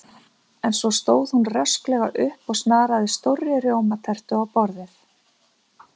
En svo stóð hún rösklega upp og snaraði stórri rjómatertu á borðið.